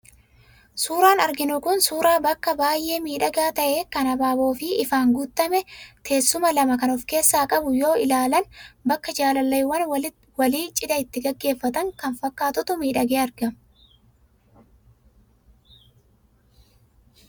Suuraan arginu kun suuraa bakka baay'ee miidhagaa ta'ee kan habaaboo fi ifaan guutame, teessuma lama kan of keessaa qabu yoo ilaalan bakka jaalalleewwan walii cidha itti gaggeeffatan kan fakkaatutu miidhagee argama.